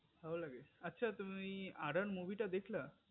মু ভালো লাগে আচ্ছা তুমি ওই horror movie টা দেখলা